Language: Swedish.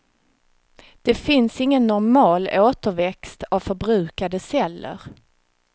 Det finns ingen normal återväxt av förbrukade celler.